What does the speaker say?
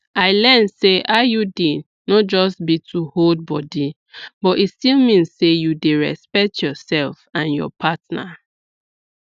i learn say iud no be just to hold body but e still mean say you dey respect yourself and your partner